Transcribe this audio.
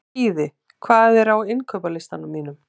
Skíði, hvað er á innkaupalistanum mínum?